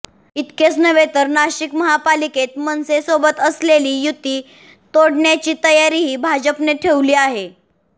इतकेच नव्हे तर नाशिक महापालिकेत मनसे सोबत असलेली युती तोडण्याची तयारीही भाजपने ठेवली आहे